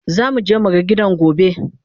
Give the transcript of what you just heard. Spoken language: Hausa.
zamu je mu ga gidan gobe